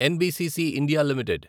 NBCC India limited